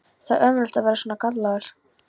Það er ömurlegt að vera svona gallaður!